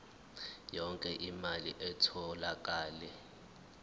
yonke imali etholakele